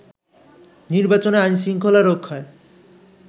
নির্বাচনে আইন-শৃঙ্খলা রক্ষায়